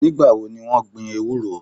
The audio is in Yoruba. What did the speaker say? Nígbà wo ni wọ́n gbin ewúro?